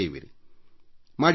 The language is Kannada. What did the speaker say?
ಸುಮ್ಮನೆ ನೀವೇ ಹೀಗೆ ಮಾಡಿ ನೋಡಿ